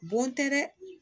Bon tɛ dɛ